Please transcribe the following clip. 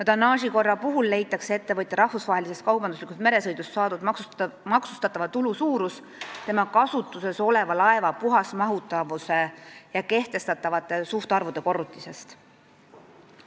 Tonnaažikorra puhul leitakse ettevõtja rahvusvahelisest kaubanduslikust meresõidust saadud maksustatava tulu suurus tema kasutuses oleva laeva puhasmahutavuse ja kehtestatavate suhtarvude korrutisest.